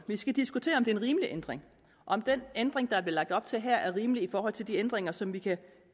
vi skal diskutere om det er en rimelig ændring og om den ændring der bliver lagt op til her er rimelig i forhold til de ændringer som vi kan